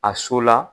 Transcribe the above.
A so la